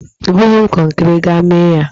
Ebughị m kọnkiri, gaa mee ya,!